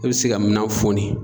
I bɛ se ka minan foni.